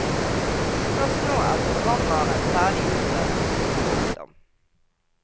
Først nå er programvaren ferdig utprøvet. punktum